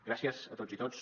gràcies a totes i tots